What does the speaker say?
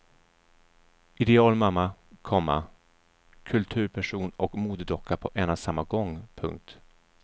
Idealmamma, komma kulturperson och modedocka på en och samma gång. punkt